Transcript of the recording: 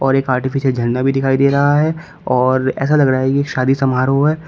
और एक आर्टिफिशियल झंडा भी दिखाई दे रहा है और ऐसा लग रहा है की शादी समारोह है।